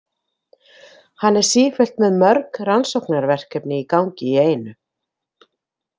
Hann er sífellt með mörg rannsóknarverkefni í gangi í einu.